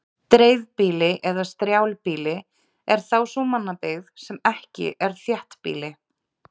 dreifbýli eða strjálbýli er þá sú mannabyggð sem ekki er þéttbýli